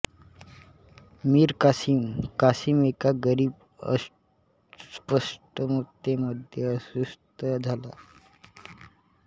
मीर कासिम कासिम एका गरीब अस्पष्टतेमध्ये अदृश्य झाला